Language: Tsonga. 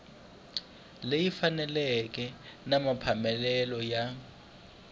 leyi faneleke ya mapeletelo na